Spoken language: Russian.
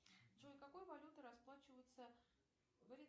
джой какой валютой расплачиваются в